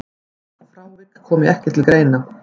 Frávik komi ekki til greina.